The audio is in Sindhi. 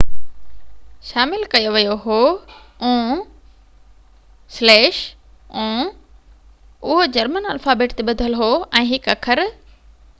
اهو جرمن الفابيٽ تي ٻڌل هو ۽ هڪ اکر õ/õ شامل ڪيو ويو هو